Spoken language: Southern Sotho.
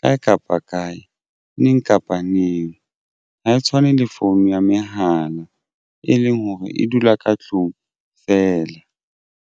kae kapa kae neng kapa neng ha e tshwane le phone ya mehala e leng hore e dula ka tlung fela.